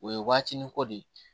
O ye waatinin ko de ye